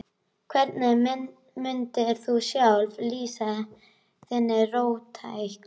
Hvernig mundir þú sjálfur lýsa þinni róttækni?